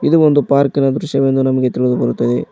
ಇದು ಒಂದು ಪಾರ್ಕಿ ನ ದೃಶ್ಯವೆಂದು ನಮಗೆ ತಿಳಿದು ಬರುತ್ತದೆ.